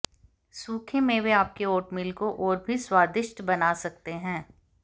सूखे मेवे आपके ओटमील को और भी स्वादिष्ट बना सकते हैं